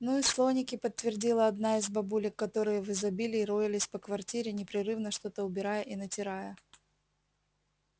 ну и слоники подтвердила одна из бабулек которые в изобилии роились по квартире непрерывно что-то убирая и натирая